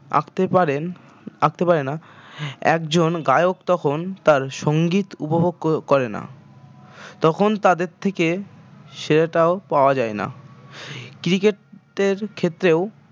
আঁকতে পারেন আঁকতে পারে না একজন গায়ক তখন তার সঙ্গীত উপভোগ করে না তখন তাদের থেকে সেরাটাও পাওয়া যায় না cricket টের ক্ষেত্রেও